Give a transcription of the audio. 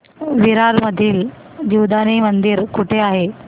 विरार मधील जीवदानी मंदिर कुठे आहे